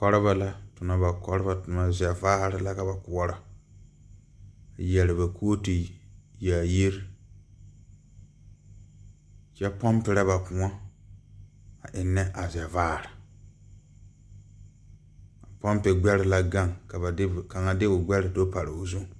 Kɔrebɔ la tonnɔ ba kɔrebɔ tomma zɛvaare la ka ba koɔrɔ yɛre ba kooturre yaayire kyɛ pɔmperɛ ba kõɔ a eŋnɛ a zɛvaare a pɔmpe gbɛre la gaŋ ka kaŋa de o gbɛre so pare be.